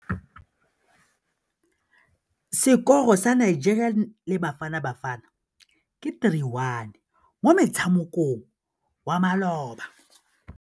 Sekôrô sa Nigeria le Bafanabafana ke 3-1 mo motshamekong wa malôba.